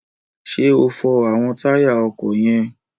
Ṣé o fọ àwọn táyà ọkọ̀ yẹn?